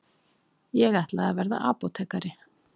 Ég ætlaði að verða apótekari.